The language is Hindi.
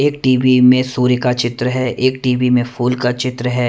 एक टी_वी में सूर्य का चित्र है एक टी_वी में फूल का चित्र है।